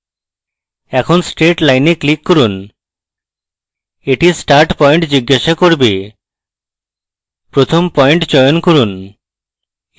এখন straight line a click করুন এটি start point জিজ্ঞাসা করবে প্রথম পয়েন্ট চয়ন করুন